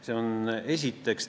Seda esiteks.